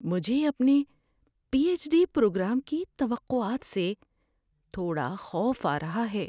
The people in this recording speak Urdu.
مجھے اپنے پی ایچ ڈی پروگرام کی توقعات سے تھوڑا خوف آ رہا ہے۔